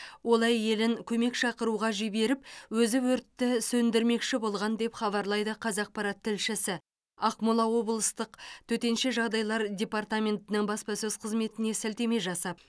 ол әйелін көмек шақыруға жіберіп өзі өртті сөндірмекші болған деп хабарлайды қазақпарат тілшісі ақмола облыстық төтенше жағдайлар департаментінің баспасөз қызметіне сілтеме жасап